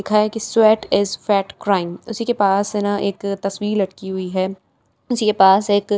लिखा हुआ है कि स्वैट इस फैट क्राइम उसी पास है ना एक तस्वीर लड़की लटकी हुई है उसी के पास एक--